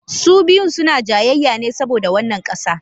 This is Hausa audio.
Su biyun suna jayayya ne saboda wannan ƙasa.